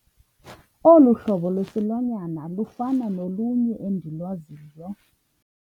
Olu hlobo lwesilwanyana lufana nolunye endilwaziyo.